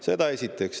Seda esiteks.